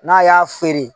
N'a y'a feere